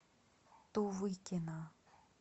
тувыкина